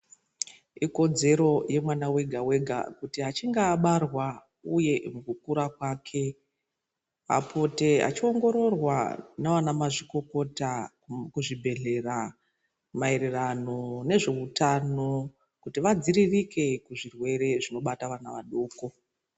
Ikodzero yemwana vega-vega kuti achinga abarwa uye mukukura kwake. Apote achiongororwa navana mazvikokota kuzvibhedhlera maererano nezvehutano kuti vadziririke kuzvirwere zvinobata vana vadoko.